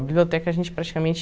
A biblioteca a gente praticamente...